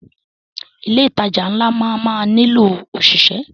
Ilé ìtajà ńlá máa má nílò ọ̀ṣìṣẹ́.